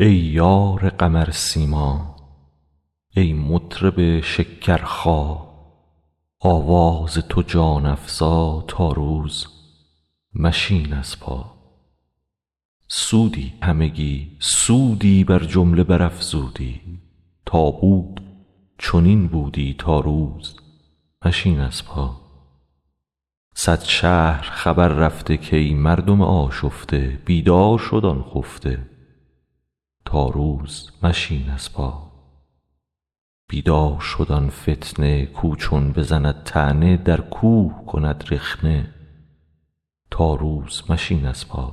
ای یار قمرسیما ای مطرب شکرخا آواز تو جان افزا تا روز مشین از پا سودی همگی سودی بر جمله برافزودی تا بود چنین بودی تا روز مشین از پا صد شهر خبر رفته کای مردم آشفته بیدار شد آن خفته تا روز مشین از پا بیدار شد آن فتنه کاو چون بزند طعنه در کوه کند رخنه تا روز مشین از پا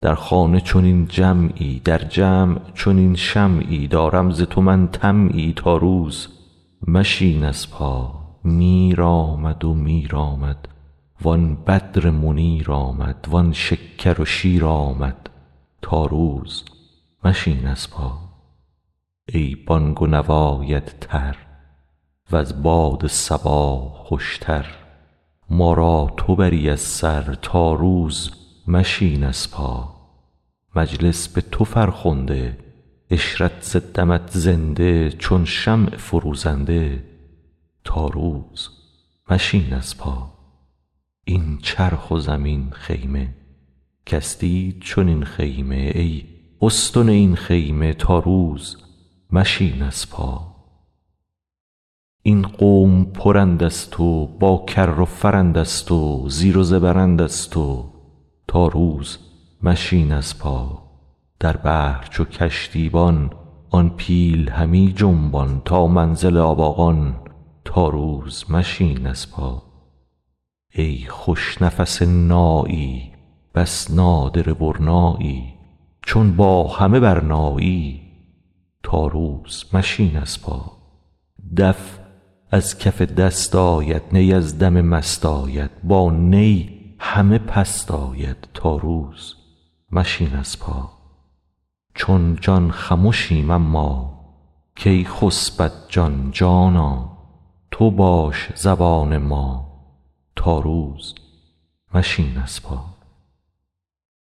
در خانه چنین جمعی در جمع چنین شمعی دارم ز تو من طمعی تا روز مشین از پا میر آمد میر آمد وان بدر منیر آمد وان شکر و شیر آمد تا روز مشین از پا ای بانگ و نوایت تر وز باد صبا خوشتر ما را تو بری از سر تا روز مشین از پا مجلس به تو فرخنده عشرت ز دمت زنده چون شمع فروزنده تا روز مشین از پا این چرخ و زمین خیمه کس دید چنین خیمه ای استن این خیمه تا روز مشین از پا این قوم پرند از تو با کر و فرند از تو زیر و زبرند از تو تا روز مشین از پا در بحر چو کشتیبان آن پیل همی جنبان تا منزل آباقان تا روز مشین از پا ای خوش نفس نایی بس نادره برنایی چون با همه برنایی تا روز مشین از پا دف از کف دست آید نی از دم مست آید با نی همه پست آید تا روز مشین از پا چون جان خمشیم اما کی خسبد جان جانا تو باش زبان ما تا روز مشین از پا